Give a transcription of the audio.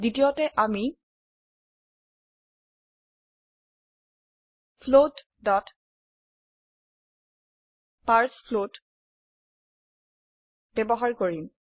দ্বিতীয়তে আমি float parse float ব্যবহাৰ কৰিম